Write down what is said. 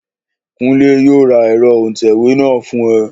Kúnlé yóò ra ẹ̀rọ òǹtẹ̀wé náà fún ẹ